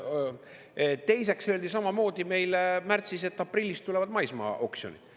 Teiseks öeldi samamoodi meile märtsis, et aprillis tulevad maismaaoksjonid.